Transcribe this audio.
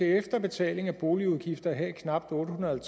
efter betaling af boligudgifter have knap otte hundrede og